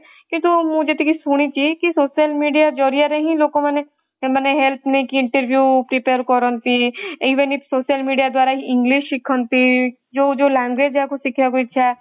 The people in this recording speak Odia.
କିନ୍ତୁ କି ମୁଁ ଯେତିକି ଶୁଣିଛି କି social media ଜରିଆରେ ହିଁ ଲୋକମାନେ ସେମାନେ help ନେଇକି interview prepare କରନ୍ତି even social media ଦ୍ଵାରା english ଶିଖନ୍ତି ଯୋଉ ଯୋଉ language ଯାହାକୁ ଶିଖିବାକୁ ଇଛା